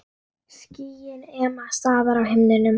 Skýin ema staðar á himnum.